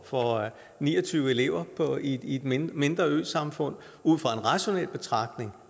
for ni og tyve elever i et mindre mindre øsamfund ud fra en rationel betragtning